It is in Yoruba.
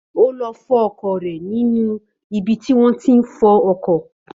Ó lọ fọ ọkọ̀ rẹ̀ ní ibi tí wọ́n tí ń fọ ọkọ̀